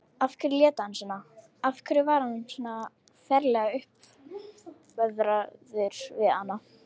Af hverju lét hann svona, af hverju var hann svona ferlega uppveðraður við hana?